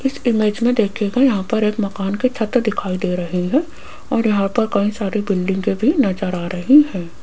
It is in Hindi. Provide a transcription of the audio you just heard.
इस इमेज में देखिएगा यहां पर एक मकान की छत दिखाई दे रही है और यहां पर कई सारी बिल्डिंगे भी नजर आ रही है।